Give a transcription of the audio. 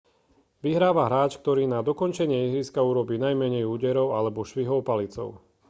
vyhráva hráč ktorý na dokončenie ihriska urobí najmenej úderov alebo švihov palicou